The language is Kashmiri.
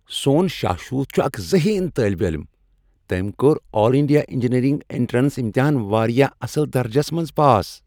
سون شاشوت چُھ اکھ ذہین طالب علم۔ تٔمۍ کوٚر آل انڈیا انجینیرنگ انٹرینس امتحان واریاہ اصل درجس منز پاس۔